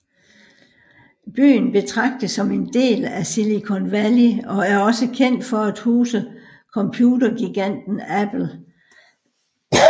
Byen betragtes som en del af Silicon Valley og er også kendt for at huse computergiganten Apple